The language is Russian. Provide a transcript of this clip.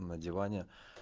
на диване